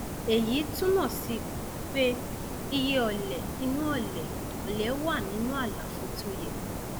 èyí túmọ sí pé iye ọlẹ inú ọlẹ ọlẹ wà nínú àlàfo tó yẹ